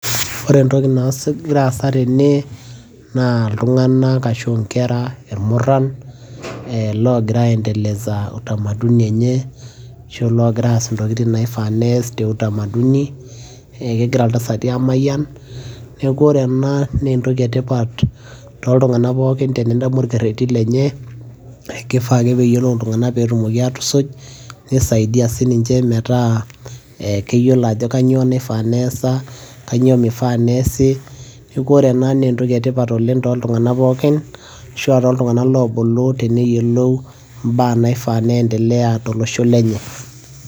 ore entoki nagira aasa tene naa iltunganak ashu nkera irmuran, loogira aendeleza utamaduni enye ashu aa loogira aas intokitin naifaa pee eesi te utamaduni. kegira iltasati aamayian, neeku ore ena naa entoki etipat, tooltunganak pookin tenintamok olkereti lenye. kifaa ake pee eyiolou iltunganak pee etumoi aatusuj. kisaidia sii ninche metaa keyiolo ajo kainyioo naifaa pee eesa, kainyioo mifaa neesi, neeku ore ena naa enttoki etipat oleng tooltunganak pookin, ashu aa tooltunganak loifaa neyiolou imbaa naifaa pee endelea tolosho lenye.